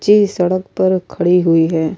جے سڈک پی خڈی ہوئی ہے۔